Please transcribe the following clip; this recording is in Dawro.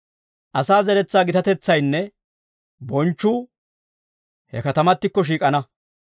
Asaa zeretsaa gitatetsaynne bonchchuu he katamattikko shiik'ana.